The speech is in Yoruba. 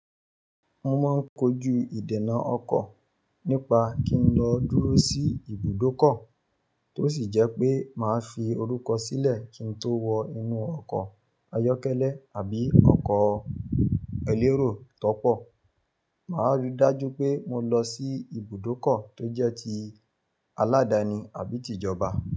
Mo máa ń kojú ìdènà ọkọ̀ nípa kí n lọ dúró sí ibùdókọ̀ tó sì jẹ́ pé màá fi orúkọ sílẹ̀ kí n tó wọ inú ọkọ̀ ayọ́kẹ́lẹ́ àbí ọkọ̀ elérò tó pọ̀. Màá rí dájú pé mo lọ sí ibùdókọ̀ tó jẹ́ ti aládàáni àbí ti ìjọba.